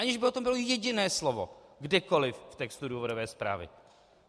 Aniž by o tom bylo jediné slovo kdekoliv v textu důvodové zprávy!